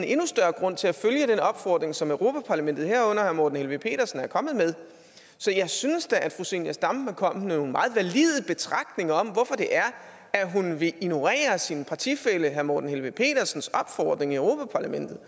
endnu større grund til at følge den opfordring som europa parlament herunder herre morten helveg petersen er kommet med så jeg synes da at fru zenia stampe er kommet med nogle meget valide betragtninger om hvorfor hun vil ignorere sin partifælle herre morten helveg petersens opfordring i europa parlamentet